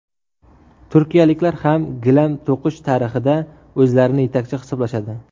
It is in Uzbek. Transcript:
Turkiyaliklar ham gilam to‘qish tarixida o‘zlarini yetakchi hisoblashadi.